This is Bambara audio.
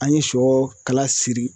An ye sɔ kala siri